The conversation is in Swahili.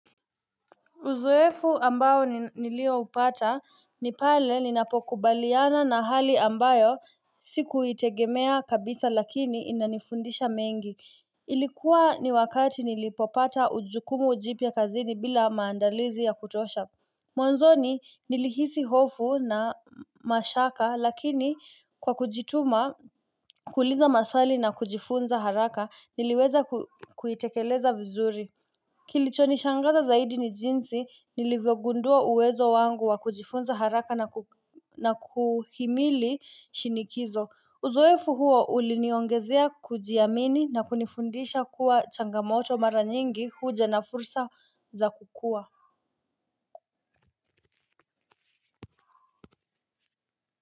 Uzoefu ambayo nilioupata ni pale ninapokubaliana na hali ambayo sikuitegemea kabisa lakini inanifundisha mengi. Ilikuwa ni wakati nilipopata ujukumu jipya kazini bila maandalizi ya kutosha. Mwanzoni nilihisi hofu na mashaka lakini kwa kujituma kuuliza maswali na kujifunza haraka niliweza kuitekeleza vizuri. Kilichonishangaza zaidi ni jinsi nilivyogundua uwezo wangu wa kujifunza haraka na kuhimili shinikizo. Uzoefu huo uliniongezea kujiamini na kunifundisha kuwa changamoto mara nyingi huja na fursa za kukua.